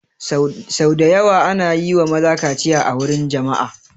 Sau da yawa ana yi wa maza kaciya a wurin jama'a